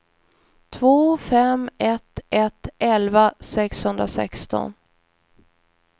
två fem ett ett elva sexhundrasexton